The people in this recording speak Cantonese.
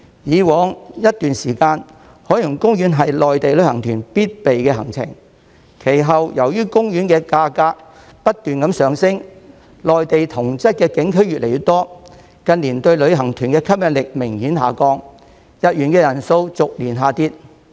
過往一段時間，海洋公園是內地旅行團必備行程，其後由於門票價格不斷上升，內地同質的景區越來越多，近年對旅行團的吸引力明顯下降，入園人數逐年下跌。